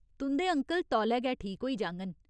तुं'दे अंकल तौले गै ठीक होई जाङन।